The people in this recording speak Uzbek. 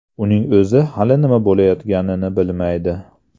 Uning o‘zi hali nima bo‘layotganini bilmaydi”.